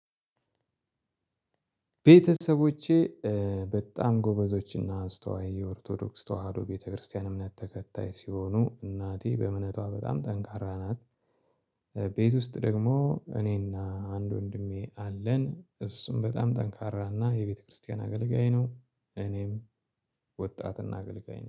ቤተሰቦቼ በጣም ጎበዞችና አስተዋይ የኦርቶዶክስ ተዋህዶ ቤተክርስቲያን እምነት ተከታይ ሲሆኑ እናቴ በእምነቷ በጣም ጠንካራ ናት። ቤት ውስጥ ደግሞ እኔና አንድ ወንድሜ አለን እሱም በጣም ጠንካራና የቤተክርስቲያን አገልጋይ ነው። እኔም ወጣትና አገልጋይ ነኝ